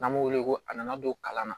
N'an b'o wele ko a nana don kalan na